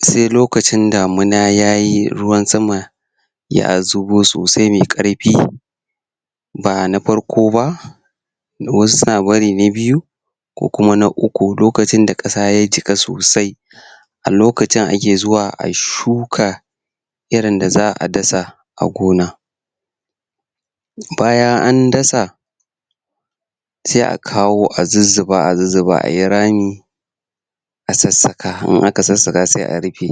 se lokacin damina yayi ruwan sama ya zubo sosai mai ƙarfi ba na farko ba wasu suna barin na byu ko kuma na uku lokacin da kasa ya jika sosai a lokacin ake zuwa ayi shuka irin da za'a dasa a gona bayan an dasa se akawo a zuzzuba a zuzzuba ayi rami a sassaka, in aka sassaka sai a rufe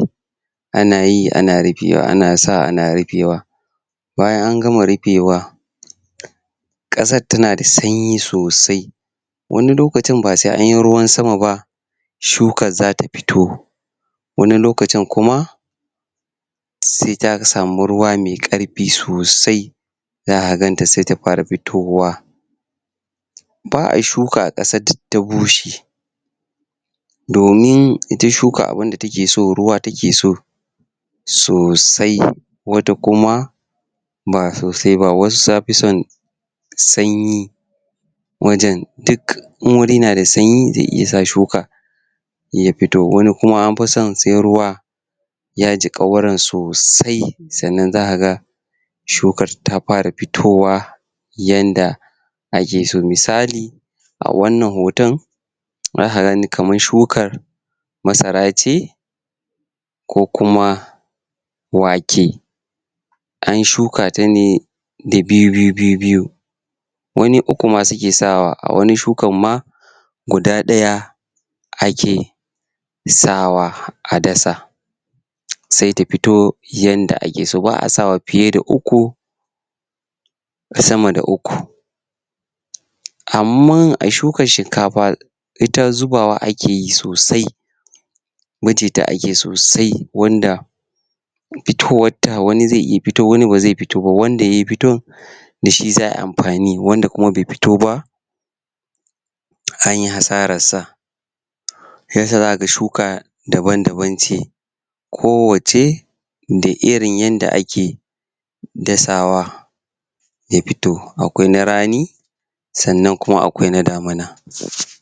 ana yi ana rufewa, ana sawa ana rufewa bayan an gama rufewa umm kasan tana da sanyi sosai wani lokacin ba sai anyi ruwan sama ba shukan zata fito wani lokacin kuma se ta samu ruwa mai karfi sosai za'a ganta se ta fara fitowa ba'a shuka a kasar da ta bushe domin ita shuka abinda takeso ruwa takeso sosai wata kuma ba sosai ba wasu tafi son sanyi wajen duk in wuri nada sanyi ze iya sa shuka ya fito, wani kuma anfi son sai ruwa ya jika wurin sosai sannan zakaga shukar ta fara fitowa yanda akeso, misali a wannan hoton zaka gani kamar shukar masra ce ko kuma wake an shuka ta ne da bibiyu bibiyu wani uku ma suke sawa, a wani shukan ma guda daya ake sawa a dasa se ta fito yanda akeso, ba'a sawa fiye da uku sama da uku anman a shukan shinkafa ita zubawa akeyi sosai wuce ta ake sosai wanda fitowanta wani ze iya fito wani baze fito ba wanda ya fito dashi za'ayi amfani, wanda kuma be fito ba anyi hasararsa um shiyasa zakaga shuka daban-daban ce kowacce da irin yanda ake dasawa ya fito, akwai na rani sannan kuma akwai na damina umm pause